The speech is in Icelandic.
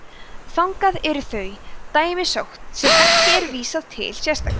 þangað eru þau dæmi sótt sem ekki er vísað til sérstaklega